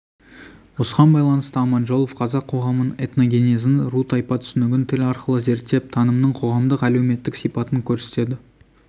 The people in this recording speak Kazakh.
осыған байланысты аманжолов қазақ қоғамын оның этногенезін ру-тайпа түсінігін тіл арқылы зерттеп танымның қоғамдық әлеуметтік сипатын көрсетеді